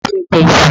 Ta ló fẹ́ jẹ iṣu?